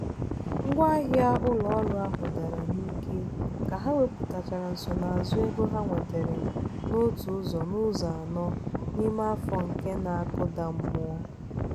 ngwaahịa ụlọ ọrụ ahụ dara n'ike ka ha wepụtachara nsonaazụ ego ha nwetara n'otu ụzọ n'ụzọ anọ n'ime afọ nke na-akụda mmụọ.